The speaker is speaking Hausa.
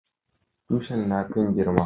Tushin na kan girma